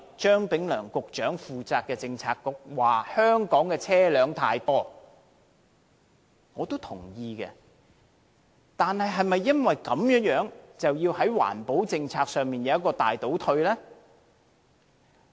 張炳良局長領導的政策局說香港的車輛太多，我也同意，但是否因此而要令環保政策大倒退？